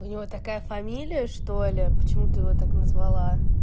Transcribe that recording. у него такая фамилия что ли почему ты его так назвала